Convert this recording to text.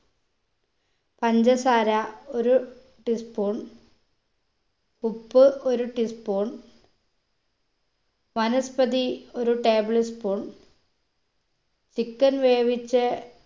പഞ്ചസാര ഒരു tea spoon ഉപ്പ് ഒര് tea spoon വനസ്പതി ഒരു table spoon chicken വേവിച്ചെ